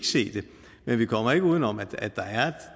se det men vi kommer ikke udenom at